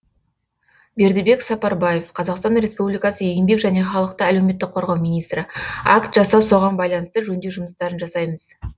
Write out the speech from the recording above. бердібек сапарбаев қазақстан республикасы еңбек және халықты әлеуметтік қорғау министрі акт жасап соған байланысты жөндеу жұмыстарын жасаймыз